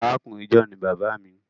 Àrákùnrin John ní bàbá mí.